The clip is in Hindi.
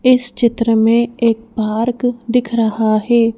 इस चित्र में एक पार्क दिख रहा है।